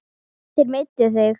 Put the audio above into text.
Þeir meiddu þig.